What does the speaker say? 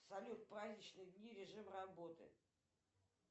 салют праздничные дни режим работы